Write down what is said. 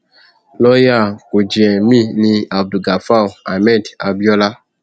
lọọyà kúnjẹ mi ní abdulgafar ahmed abiola